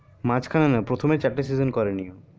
মাঝখানে না প্রথমে চারটা season করেনি